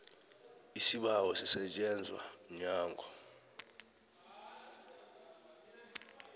isibawo sisetjenzwa mnyango